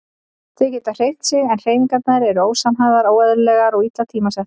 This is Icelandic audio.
Þau geta hreyft sig en hreyfingarnar eru ósamhæfðar, óeðlilegar og illa tímasettar.